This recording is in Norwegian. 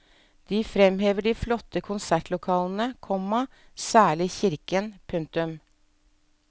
De fremhever de flotte konsertlokalene, komma særlig kirken. punktum